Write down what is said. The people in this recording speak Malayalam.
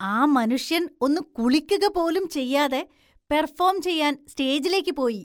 ആ മനുഷ്യൻ ഒന്ന് കുളിക്കുക പോലും ചെയ്യാതെ പെർഫോം ചെയ്യാൻ സ്റ്റേജിലേക്ക് പോയി.